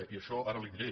i això ara li diré